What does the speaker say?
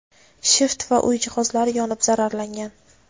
shift va uy jihozlari yonib zararlangan.